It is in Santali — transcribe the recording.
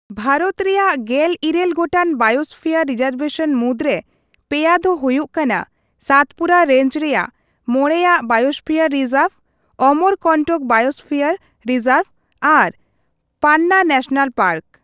ᱵᱷᱟᱨᱚᱛ ᱨᱮᱭᱟᱜ ᱜᱮᱞ ᱤᱨᱟᱹᱞ ᱜᱚᱴᱟᱝ ᱵᱟᱭᱳᱥᱯᱷᱤᱭᱟᱨ ᱨᱤᱡᱟᱨᱵᱷᱮᱥᱚᱱ ᱢᱩᱫᱽᱨᱮ ᱯᱮᱭᱟ ᱫᱚ ᱦᱚᱭᱩᱜ ᱠᱟᱱᱟ ᱥᱟᱛᱯᱩᱨᱟ ᱨᱮᱧᱡ ᱨᱮᱭᱟᱜ ᱢᱚᱬᱮᱭᱟᱜ biosphere reserve, Amarkantak biosphere reserve ᱟᱨ ᱯᱟᱱᱱᱟ ᱱᱮᱥᱮᱱᱮᱞ ᱯᱟᱨᱠ ᱾